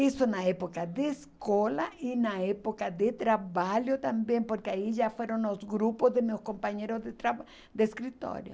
Isso na época de escola e na época de trabalho também, porque aí já foram os grupos de meus companheiros de traba, de escritório.